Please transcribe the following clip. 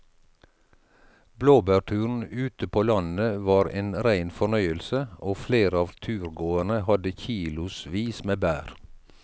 Blåbærturen ute på landet var en rein fornøyelse og flere av turgåerene hadde kilosvis med bær.